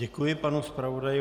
Děkuji panu zpravodaji.